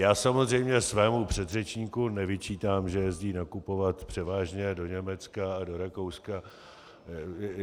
Já samozřejmě svému předřečníku nevyčítám, že jezdí nakupovat převážně do Německa a do Rakouska.